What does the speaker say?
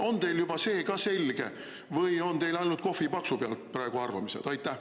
On teil juba see ka selge või on teile ainult kohvipaksu pealt praegu arvamised?